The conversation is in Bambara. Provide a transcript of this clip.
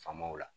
Faamaw la